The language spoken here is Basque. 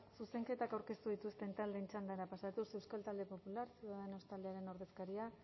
zuzenketak aurkeztu dituzten taldeen txandara pasatuz euskal talde popular ciudadanos taldearen ordezkaria